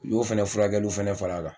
U y'o fɛnɛ furakɛliw fɛnɛ fara a kan.